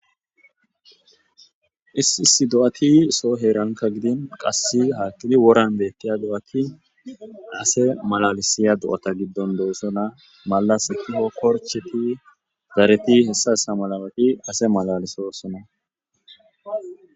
isisi do7ati soho heeranka gidin qasse haaki woran beettiya do7ati ase malalisiya do7ata giddon doossona malas kio korcheti zareti hessa essa malawaqi ase malalisosona